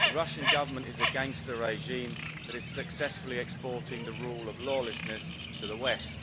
The Russian Government is a gangster regime which is successfully exporting the rule of lawlessness to the West.